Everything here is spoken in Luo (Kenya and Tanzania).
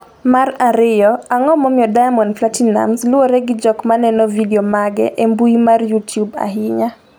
mar ariyo, Ang’o momiyo Diamond Platinumz luwre gi jok maneno vidio mage e mbui mar Youtube ahinya?